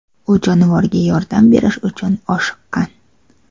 U jonivorga yordam berish uchun oshiqqan.